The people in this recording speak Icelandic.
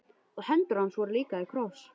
Og hendur hans voru líka í kross.